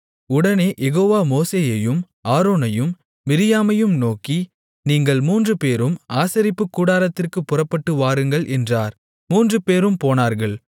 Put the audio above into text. உடனே யெகோவா மோசேயையும் ஆரோனையும் மிரியாமையும் நோக்கி நீங்கள் மூன்று பேரும் ஆசரிப்புக்கூடாரத்திற்குப் புறப்பட்டு வாருங்கள் என்றார் மூன்றுபேரும் போனார்கள்